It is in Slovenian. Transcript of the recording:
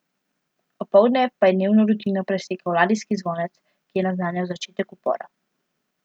Opoldne pa je dnevno rutino presekal ladijski zvonec, ki je naznanjal začetek upora.